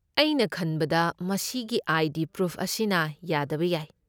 ꯑꯩꯅ ꯈꯟꯕꯗ ꯃꯁꯤꯒꯤ ꯑꯥꯏ.ꯗꯤ. ꯄ꯭ꯔꯨꯐ ꯑꯁꯤꯅ ꯌꯥꯗꯕ ꯌꯥꯏ꯫